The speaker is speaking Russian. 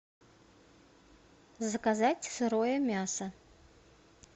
заказать сырое мясо